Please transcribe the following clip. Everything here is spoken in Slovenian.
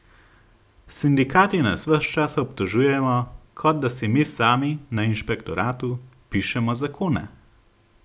Sindikati nas ves čas obtožujejo, kot da si mi sami, na inšpektoratu, pišemo zakone!